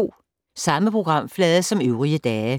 Samme programflade som øvrige dage